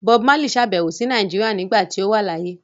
Bob Marley sàbẹ̀wò sí Nàìjíríà nígbà tí ó wà láyé.